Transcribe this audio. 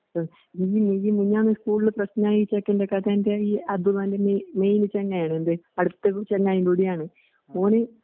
മിഞ്ഞി മിഞ്ഞി മിഞ്ഞാന്ന് സ്കൂൾന്പ്രെസിനായിചെക്കെന്റെകഥേന്റെ ഈഅതുപോലെന്നെ ഇ മെയിൽസന്നെയാണെന്ത് അടുത്തതു ചെന്നൈകൂടിയാണ്. ഓന്